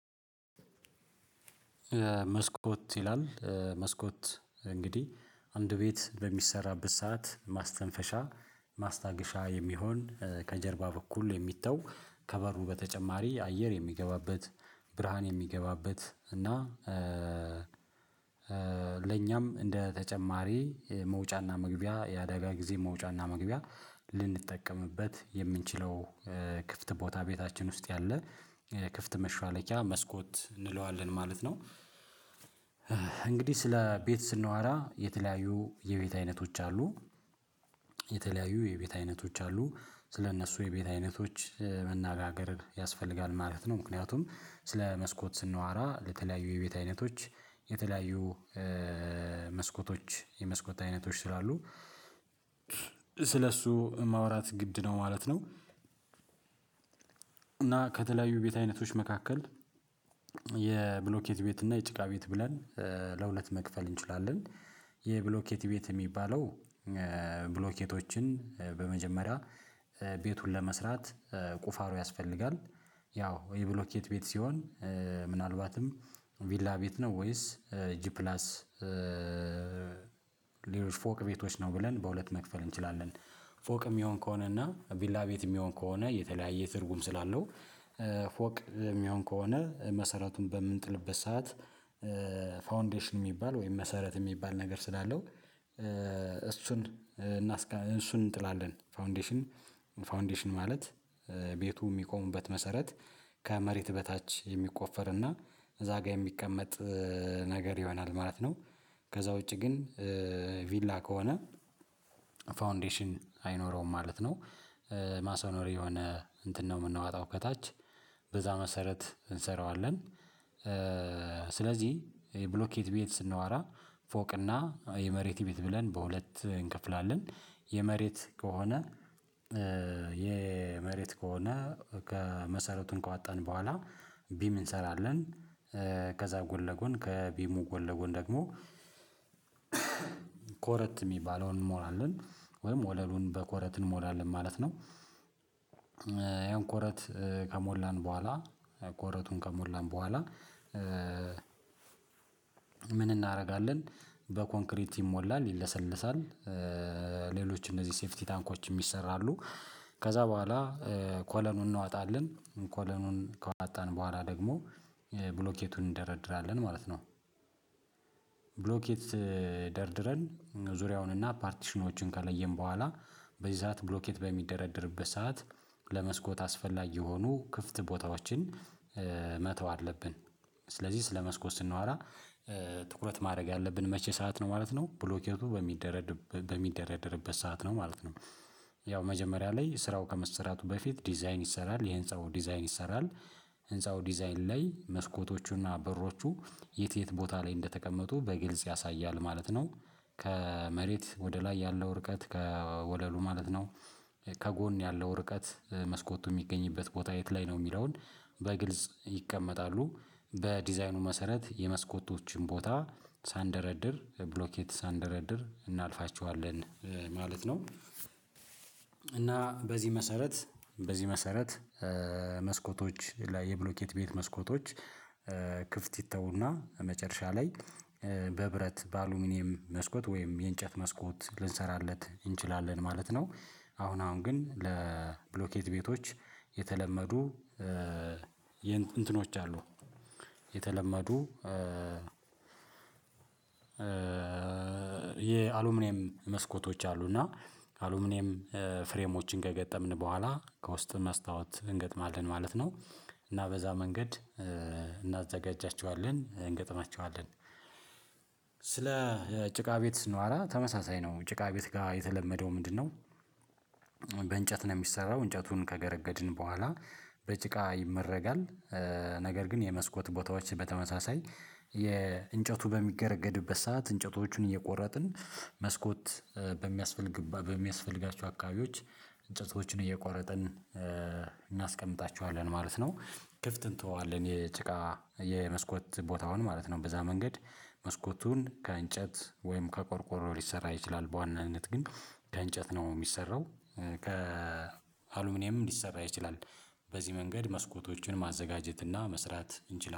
መስኮት ይላል መስኮት እንግዲህ አንድ ቤት በሚሰራበት ሰዓት ማስተንፈሻ ማስታገሻ የሚሆን ከጀርባ በኩል የሚተው ከበሩ በተጨማሪ አየር የሚገባበት ብርሃን የሚገባበት እና ለኛም እንደ ተጨማሪ መውጫና መግቢያ የአዳጋ ጊዜ መውጫና መግቢያ ልንጠቀምበት የምንችለው ክፍት ቦታ ቤታችን ውስጥ ያለ ክፍት መሿለኪያ መስኮት እንለዋለን ማለት ነው። እንግዲህ ስለ ቤት ስናወራ የተለያዩ የቤት አይነቶች አሉ። የተለያዩ የቤት አይነቶች አሉ ስለእነሱ የቤት አይነቶች መናገር ያስፈልጋል ማለት ነው። ምክንያቱም ስለ መስኮት ስናዋራ ለተለያዩ የቤት አይነቶች የተለያዩ መስኮቶች የመስኮት አይነቶች ስላሉ ስለሱ ማውራት ግድ ነው ማለት ነው። እና ከተለያዩ ቤት አይነቶች መካከል የብሎኬት ቤት እና የጭቃ ቤት ብለን ለሁለት መክፈል እንችላለን። የብሎኬት ቤት ሚባለው ብሎኬቶችን በመጀመሪያ ቤቱን ለመስራት ቁፋሮ ያስፈልጋል ያው የብሎኬት ቤት ሲሆን ምናልባትም ቪላ ቤት ነው ወይስ ጂፕላስ ፕላስ ፎቅ ቤቶች ነው ብለን በሁለት መክፈል እንችላለን። ፎቅ የሚሆን ከሆነ እና ቪላ ቤት የሚሆን ከሆነ የተለያየ ትርጉም ስላለው ፎቅ ሚሆን ከሆነ መሰረቱን በምንጥልበት ሰዓት። ፋውንዴሽን ሚባል ወይም መሰረት ሚባል ነገር ስላለው። እሱን እና እሱን እንጥላለን ፋውንዴሽን ፋውንዴሽን ማለት ቤቱ የሚቆሙበት መሰረት ከመሬት በታች የሚቆፈርና እዛ ጋር የሚቀመጥ ነገር ይሆናል ማለት ነው። ከዛ ውጪ ግን ቪላ ከሆነ ፋውንዴሽን አይኖረውም ማለት ነው። ማሰኖር የሆነ እንትን ነው የምንዋጣው ከታች በዛ መሰረት እንሰራዋለን። ስለዚህ የብሎኬት ቤት ስናወራ ፎቅና የመሬት ቤት ብለን በሁለት እንከፍላለን የመሬት ከሆነ የመሬት ከሆነ ከመሰረቱን ካወጠን በኋላ ቢም እንሰራለን። ከዛ ጎን ለጎን ከቢሙ ጎን ለጎን ደግሞ ኮረት ሚባለውን እንሞላለን ወይም ወለሉን በኮረት እንሞላለን ማለት ነው። ያ ኮረት ከሞላን በኋላ ኮረቱን ከሞላን በኋላ ምን እናደረጋለን? በኮንክሪት ይሞላል ይለሰለሳል። ሌሎች እነዚህ ሴፊቲ ታንኮችም ይሰራሉ። ከዛ በኋላ ኮለኑን እናወጣለን ኮሎኑን ከዋጣን በኋላ ደግሞ ብሎኬቱን እንደረድራለን ማለት ነው። ብሎኬት ደርድረን ዙሪያውን እና ፓርቲሽኖችን ከለየን በኋላ በዚህ ሰዓት ብሎኬት በሚደረድርበት ሰዓት ለመስኮት አስፈላጊ የሆኑ ክፍት ቦታዎችን መተው አለብን። ስለዚህ ስለ መስኮት ስናወራ ትኩረት ማድረግ ያለብን መቼ ሰዓት ነው ማለት ነው ብሎኬቱ በሚደረድበት ሰዓት ነው ማለት ነው። ያው መጀመሪያ ላይ ስራው ከመሰራቱ በፊት ዲዛይን ይሰራል የህንጻው ዲዛይን ይሰራል። ህንፃው ዲዛይን ላይ መስኮቶቹና በሮቹ የት የት ቦታ ላይ እንደተቀመጡ በግልጽ ያሳያል ማለት ነው። ከመሬት ወደ ላይ ያለው ርቀት ከወለሉ ማለት ነው። ከጎን ያለው ርቀት መስኮቱ ሚገኝበት ቦታ የት ላይ ነው የሚለውን በግልጽ ይቀመጣሉ በዲዛይኑ መሰረት የመስኮቶችን ቦታ ሳንደረድር ብሎኬት ሳንደረድር እናልፋቸዋለን ማለት ነው። እና በዚህ መሰረት በዚህ መሰረት መስኮቶች ላይ የብሎኬት ቤት መስኮቶች ክፍት ይተውና መጨረሻ ላይ በብረት በአልሙንየም መስኮት ወይም የእንጨት መስኮት ልንሰራለት እንችላለን ማለት ነው። አሁን አሁን ግን ለብሎኬት ቤቶች የተለመዱ የእን እንትኖች አሉ። የተለመዱ የአሉሙንየም መስኮቶች አሉና አሉምኔም ፍሬሞችን ከገጠምን በኋላ ከውስጥ መስታወት እንገጥማለን ማለት ነው። እና በዛ መንገድ እናዘጋጃቸዋለን እንገጥማቸዋለን። ስለ ጭቃ ቤት ስናዋራ ተመሳሳይ ነው ጭቃ ቤት ጋር የተለመደው ምንድነው? በእንጨት ነው የሚሰራው እንጨቱን ከገረገድን በኋላ በጭቃ ይመረጋል። ነገር ግን የመስኮት ቦታዎች በተመሳሳይ የእንጨቱ በሚገረገድበት ሰዓት እንጨቶቹን እየቆረጥን መስኮት በሚያስፈልግ በሚያስፈልጋቸው አካባቢዎች እንጨቶችን እየቆረጥን እናስቀምጣቸዋለን ማለት ነው ክፍት እንተወዋለን የጭቃ የመስኮት ቦታውን ማለት ነው። በዛ መንገድ መስኮቱን ከእንጨት ወይም ከቆርቆሮ ሊሰራ ይችላል በዋናነት ግን ከእንጨት ነው ሚሰራው። ከአሉሚኒየም ሊሰራ ይችላል። በዚህ መንገድ መስኮቶችን ማዘጋጀት እና መስራት እንችላለን